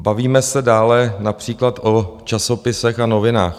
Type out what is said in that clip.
Bavíme se dále například o časopisech a novinách.